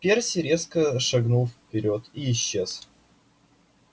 перси резко шагнул вперёд и исчез